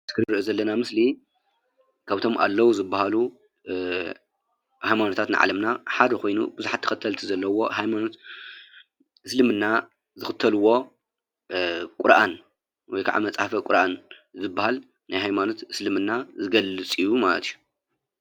እዚ ነሪኦ ዘለና ምስሊ ካብቶም አለዉ ዝበሃሉ ሃይማኖታት ዓለምና ሓደ ኮይኑ ብዛሓት ተከተልቲ ዘለውዎ ሃይማኖት እስልምና ዝክተልዎ ቁርአን ወይ ከዓ መፅሓፈ ቁርአን ዝበሃል ናይ ሃይማኖት እስልምና ዝገልፅ እዩ ማለት እዩ፡፡